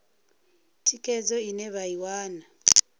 thikhedzo ine vha i wana